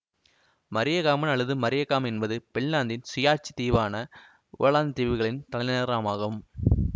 மரீயகாமன் அல்லது மரீயகாம் என்பது பின்லாந்தின் சுயாட்சி தீவான ஓலந்து தீவுகளின் தலைநகரமகும்